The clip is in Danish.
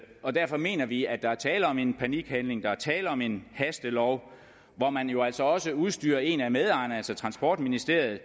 og derfor mener vi at der er tale om en panikhandling der er tale om en hastelov hvor man jo altså også udstyrer en af medejerne altså transportministeriet